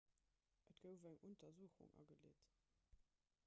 et gouf eng untersuchung ageleet